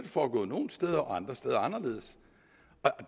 foregået nogle steder og andre steder anderledes